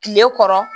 Kile kɔrɔ